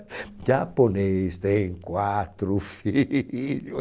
O japonês tem quatro filhos.